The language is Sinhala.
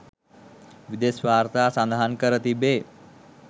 විදෙස් වාර්තා සඳහන් කර තිබේ